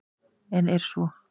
En er svo?